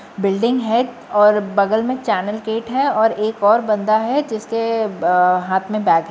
building है और बगल में चैनल गेट है और एक और बंदा है जिसके अअ हाथ में बैग --